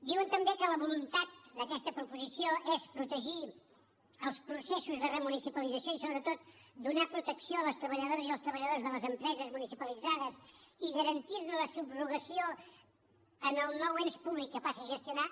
diuen també que la voluntat d’aquesta proposició és protegir els processos de remunicipalització i sobretot donar protecció a les treballadores i als treballadors de les empreses municipalitzades i garantir ne la subrogació en el nou ens públic que passi a gestionar